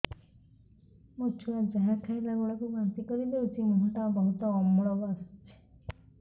ମୋ ଛୁଆ ଯାହା ଖାଇଲା ବେଳକୁ ବାନ୍ତି କରିଦଉଛି ମୁହଁ ଟା ବହୁତ ଅମ୍ଳ ବାସୁଛି